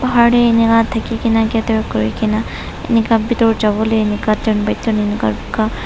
bahar teh inaka thaki ke na gather kuri ke na inka bithor jabo le inka turn by turn inoka ika--